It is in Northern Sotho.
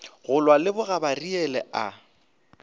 go lwa le bogabariele a